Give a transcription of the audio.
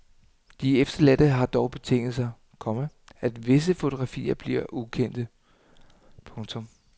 De efterladte har dog betinget sig, komma at visse fotografier forbliver ukendte. punktum